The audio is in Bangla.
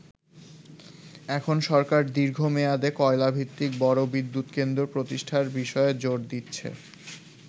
এখন সরকার দীর্ঘ মেয়াদে কয়লাভিত্তিক বড় বিদ্যুৎ কেন্দ্র প্রতিষ্ঠার বিষয়ে জোর দিচ্ছে।